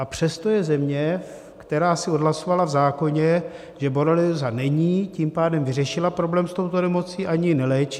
A přesto je země, která si odhlasovala v zákoně, že borelióza není, tím pádem vyřešila problém s touto nemocí, ani ji neléčí.